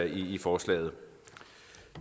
i forslaget